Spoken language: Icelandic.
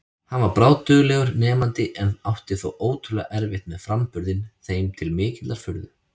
Hann var bráðduglegur nemandi en átti þó ótrúlega erfitt með framburðinn, þeim til mikillar furðu.